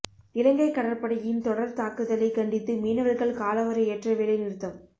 இலங்கை கடற்படையின் தொடர் தாக்குதலை கண்டித்து மீனவர்கள் காலவரையற்ற வேலை நிறுத்தம்